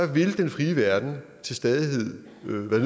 vil den frie verden til stadighed være